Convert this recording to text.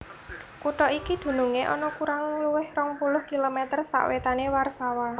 Kutha iki dunungé ana kurang luwih rong puluh kilomèter sawètané Warsawa